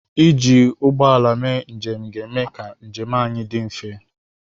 Iji ụgbọ ala mee njem ga-eme ka njem anyị dị mfe.